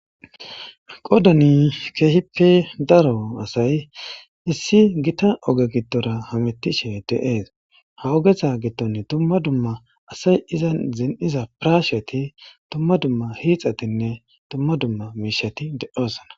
Qodani keehippe daro asay issi gita oge gittora hamettishe deees ha ogetha gitton dumma dumma asay iza zin'iza pirasheti dumma dumma hiixatinne dumma dumma miishati de'osana.